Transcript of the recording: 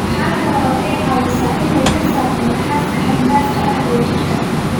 Waxa kale oo ay caawisaa in ay ka saarto naxaasta xad-dhaafka ah ee jidhka.